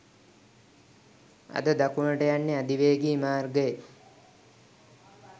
අද දකුණට යන්නේ අධිවේගී මාර්ගයේ